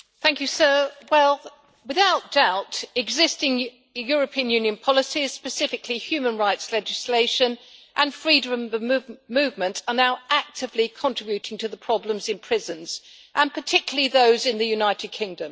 Mr President, without doubt existing European Union policies, specifically human rights legislation and freedom of movement, are now actively contributing to the problems in prisons, and particularly those in the United Kingdom.